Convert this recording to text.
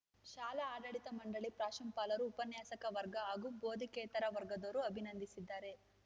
ಶಾಲಾ ಆಡಳಿತ ಮಂಡಳಿ ಪ್ರಾಂಶುಪಾಲರು ಉಪನ್ಯಾಸಕ ವರ್ಗ ಹಾಗೂ ಬೋಧಕೇತರ ವರ್ಗದವರು ಅಭಿನಂದಿಸಿದ್ದಾರೆ